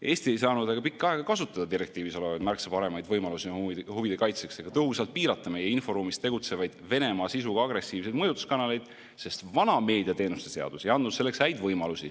Eesti ei saanud pikka aega kasutada direktiivis olevaid märksa paremaid võimalusi oma huvide kaitseks ega tõhusalt piirata meie inforuumis tegutsevaid Venemaa sisuga agressiivseid mõjutuskanaleid, sest vana meediateenuste seadus ei andnud selleks häid võimalusi.